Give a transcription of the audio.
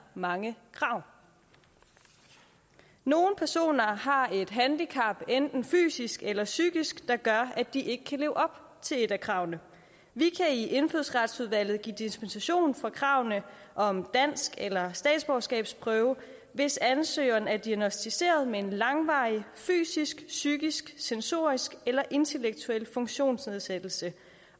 mange krav nogle personer har et handicap enten fysisk eller psykisk der gør at de ikke kan leve op til kravene vi kan i indfødsretsudvalget give dispensation fra kravene om dansk eller statsborgerskabsprøve hvis ansøgeren er diagnosticeret med en langvarig fysisk psykisk sensorisk eller intellektuel funktionsnedsættelse